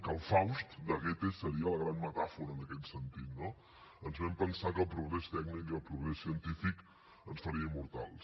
el faust de goethe seria la gran metàfora en aquest sentit no ens vam pensar que el progrés tècnic i el progrés científic ens farien immortals